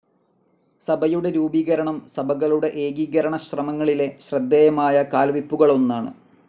സഭയുടെ രൂപീകരണം സഭകളുടെ ഏകീകരണശ്രമങ്ങളിലെ ശ്രദ്ധേയമായ കാൽവെയ്പ്പുകളൊന്നാണ്.